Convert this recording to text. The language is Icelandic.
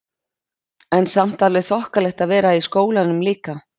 En samt alveg þokkalegt að vera í skólanum líka?